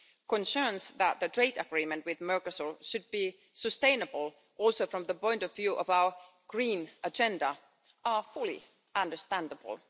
Concerns that the trade agreement with Mercosur should be sustainable, also from the point of view of our green agenda, are fully understandable.